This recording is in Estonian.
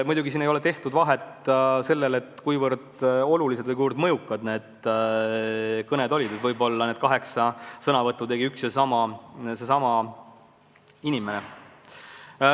Muidugi siin ei ole tehtud vahet, kui olulised või kui mõjukad need kõned olid, ja võib-olla need kaheksa kõnet tegi üks ja seesama inimene.